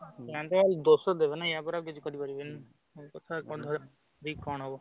ଗାଁ ଲୋକ ଦୋଷ ଦେବେ ନା ୟା ପରେ ଆଉ କିଛି କରି ପାରିବନି। ସବୁ କଥା ଧରିକି କଣ ହବ?